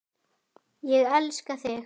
Ég elska þig!